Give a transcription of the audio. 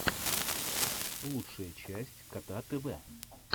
лучшая часть кота тв